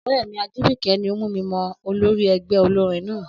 Ọ̀rẹ́ mi Ajìbìkẹ́ ni o mú mi mọ olórí ẹgbẹ́ olórin náà